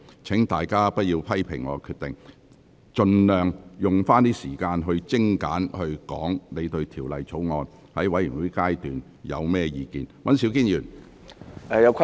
請大家不要批評我的決定，而應盡量善用時間，在全體委員會審議階段就《條例草案》作精簡的表述。